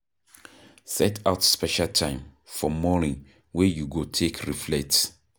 Set out special time for morning wey you go take reflect